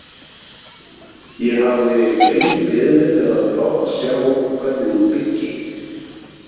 Ég hafði lengi beðið eftir að fá að sjá hvernig hún byggi.